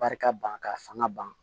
Barika ban ka fanga ban